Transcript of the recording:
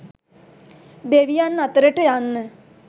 දෙවියන් අතරට යන්න